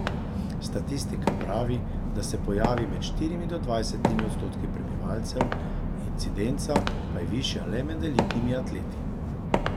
Statistika pravi, da se pojavi med štirimi do dvajsetimi odstotki prebivalcev, incidenca pa je višja le med elitnimi atleti.